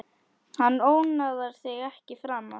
Hann ónáðar þig ekki framar.